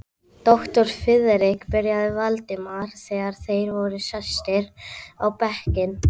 Doktor Friðrik byrjaði Valdimar, þegar þeir voru sestir á bekkinn.